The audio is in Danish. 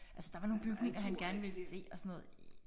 Altså der var nogle bygninger han gerne ville se og sådan noget